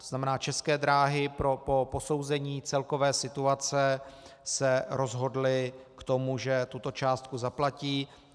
To znamená, České dráhy po posouzení celkové situace se rozhodly k tomu, že tuto částku zaplatí.